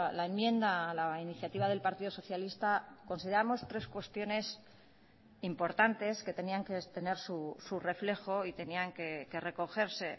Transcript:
la enmienda a la iniciativa del partido socialista consideramos tres cuestiones importantes que tenían que tener su reflejo y tenían que recogerse